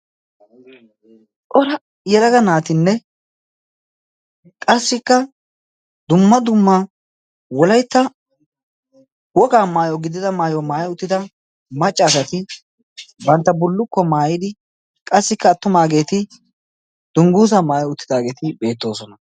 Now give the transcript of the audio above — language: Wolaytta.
Cora yelaga naatinne qassikka dumma dumma wolaytta wogaa maayo gidida maayi uttida macca asati bantta bullukkuwa maayidi qassikka attumaageeti dungguuzaa maayi uttidaageeti beettoosona.